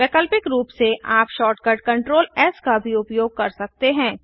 वैकल्पिक रूप से आप शॉर्टकट कंट्रोल एस का भी उपयोग कर सकते हैं